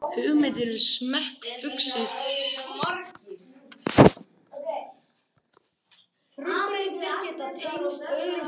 hugmyndir um smekk uxu upp úr kenningum um innra fegurðarskyn